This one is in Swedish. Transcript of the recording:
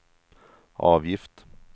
avgift